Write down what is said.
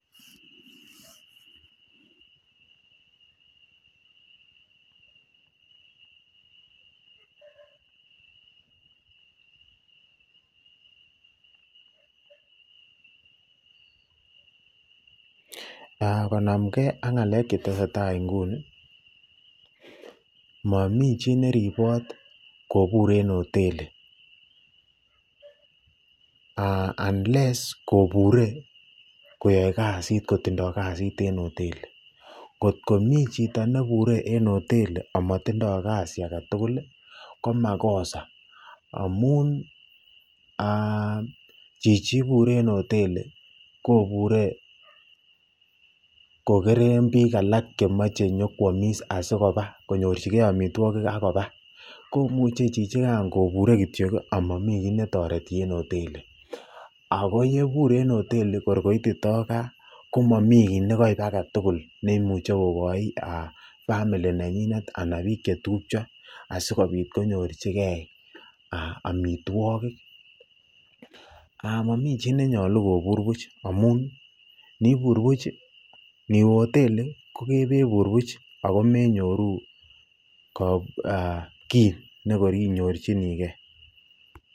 konamkee ak ngalek chetesetai inguni, momii chii neribot kobur en hoteli unless kobure koyoe kasit kotindo kasit en hoteli, kot komii chii nebure en hoteli amotindo kasi aketukul ko makosa amun chichii ibure en hoteli kobure kokeren biik alak chemoche inyokwomis asikobaa konyorchikee amitwokik ak kobaa komuche chichikan kobure kityo amamii kii netoreti en hoteli ak ko yebur en hoteli kor koitito kaa komomi kiit nekoib aketukul nemuche kokoi family nenyinet anan biik chetupcho asikobit konyorcike amitwokik, momii chii nenyolu kobur buch amun inibur buch niwee hoteli ko kebur buch ak ko menyoru kii nekor inyorchinike.